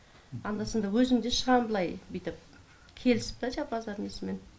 анда санда өзім де шығам былай бүйтіп келісіп та жаңағы базар несімен